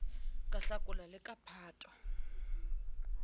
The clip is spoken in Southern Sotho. ka hlakola le ka phato